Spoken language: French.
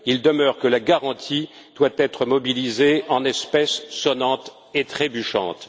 Il demeure que la garantie doit être mobilisée en espèces sonnantes et trébuchantes.